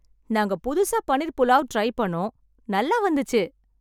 நாங்க புதுசா பன்னீர் புலாவ் ட்ரை பண்ணோ நல்லா வந்துச்சு.